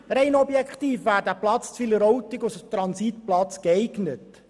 Rein objektiv wäre der Platz in Wileroltigen als Transitplatz geeignet.